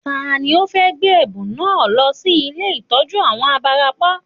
Tani ó fẹ́ gbé ẹ̀bùn náà lọ sí ilé ìtọ́jú àwọn abarapá